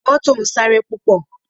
Mọ́tò ń sáré púpọ̀